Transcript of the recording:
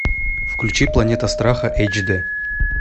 включи планета страха эйч д